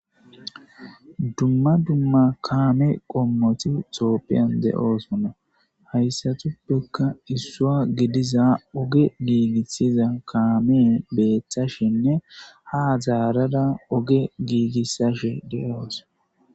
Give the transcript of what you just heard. Duma duma kame qomoti topian de'osona haysatupeka isuwa gidiza oge gigisiza kame betashene ha zarada oge gigisishe de'awus.